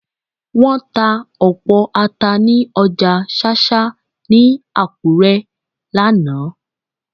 Wọ́n ta ọ̀pọ̀ Ata ní ọjà ṣáṣá ní Akure lánàá